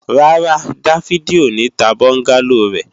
Rárá, Dáfídì ò ní ta bọ́ńgálò rẹ̀